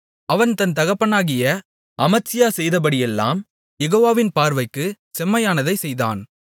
அவன் தன் தகப்பனாகிய அமத்சியா செய்தபடியெல்லாம் யெகோவாவின் பார்வைக்குச் செம்மையானதைச் செய்தான்